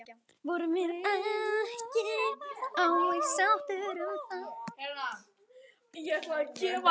Vorum við ekki á eitt sáttar um það?